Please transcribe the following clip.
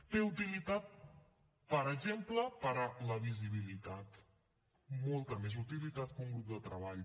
té utilitat per exemple per a la visibilitat molta més utilitat que un grup de treball